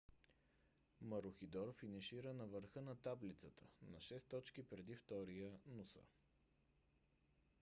марухидор финишира на върха на таблицата на 6 точки пред втория нуса